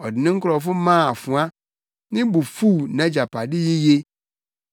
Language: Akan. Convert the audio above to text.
Ɔde ne nkurɔfo maa afoa; ne bo fuw nʼagyapade yiye.